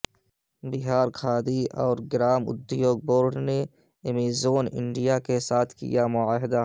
بہار کھادی اورگرام ادیوگ بورڈ نے Amazon India کے ساتھ کیا معاہدہ